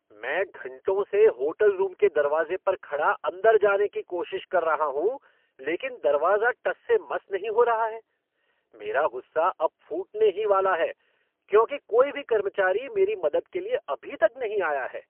मैं घंटों से होटल रूम के दरवाजे पर खड़ा अंदर जाने की कोशिश कर रहा हूँ, लेकिन दरवाजा टस से मस नहीं हो रहा है! मेरा गुस्सा अब फूटने ही वाला है, क्योंकि कोई भी कर्मचारी मेरी मदद के लिए अभी तक नहीं आया है।